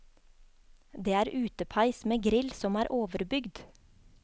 Det er utepeis med grill som er overbygd.